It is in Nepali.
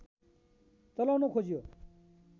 चलाउन खोजियो